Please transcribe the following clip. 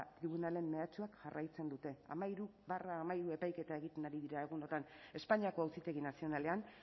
tribunalen mehatxuak jarraitzen dute hamairu barra hamairu epaiketa egiten ari dira egunotan espainiako auzitegi nazionalean